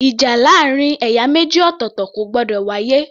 Ìjà láàrin ẹ̀yà méjì ọ̀tọ̀ọ̀tọ̀ kò gbọdọ̀ wá yé